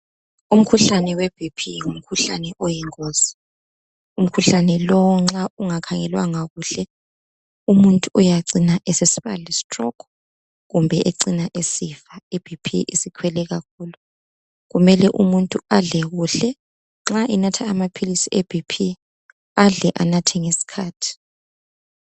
Umkhuhlane weBp ngumkhuhlane oyingozi umkhuhlane lowu nxa ungakhangelwanga kuhle umuntu uyacina esesiba le stroke kumbe ecine esifa iBp isikhwele kakhulu kumele umuntu adle kuhle nxa enatha amaphilisi eBp adle enathe ngesikhathi.